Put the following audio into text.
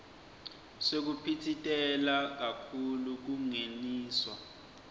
sekuphitsitela kakhulu kungeniswa